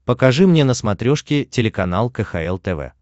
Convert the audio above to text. покажи мне на смотрешке телеканал кхл тв